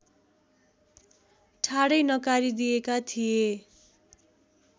ठाडै नकारिदिएका थिए